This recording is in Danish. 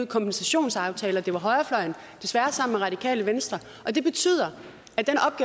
kompensationsaftaler det var højrefløjen desværre sammen med radikale venstre og det betyder